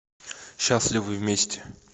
счастливы вместе